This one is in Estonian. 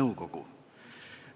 nõukogu.